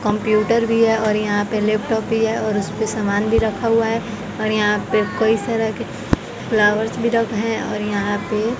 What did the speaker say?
computer भी है और यहाँ पे लैपटॉप भी है और उस पे समान भी रखा हुआ है और यहाँ पे कई तरह के फ्लावर्स भी रख है और यहाँ पे --